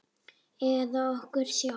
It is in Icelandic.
Eða okkur sjálf?